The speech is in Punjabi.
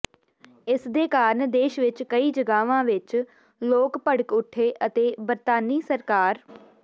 ਇਸਦੇ ਕਾਰਨ ਦੇਸ਼ ਵਿੱਚ ਕਈ ਜਗ੍ਹਾਵਾਂ ਵਿੱਚ ਲੋਕ ਭੜਕ ਉੱਠੇ ਅਤੇ ਬਰਤਾਨੀ ਸਰਕਾਰ